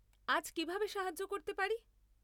আজ কীভাবে সাহায্য করতে পারি?